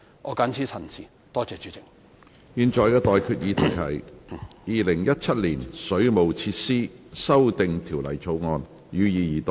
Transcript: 我現在向各位提出的待決議題是：《2017年水務設施條例草案》，予以二讀。